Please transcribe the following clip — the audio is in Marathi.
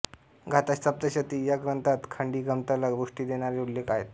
गाथासप्तशती या ग्रंथात खडीगंमतला पुष्टी देणारे उल्लेख आहेत